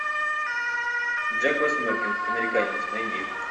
джек восьмеркин американец найди